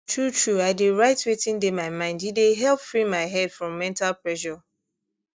truetrue i dey write wetin dey my mind e dey help free my head from mental pressure